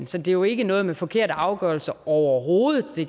så det er jo ikke noget med forkerte afgørelser overhovedet de